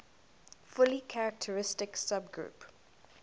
fully characteristic subgroup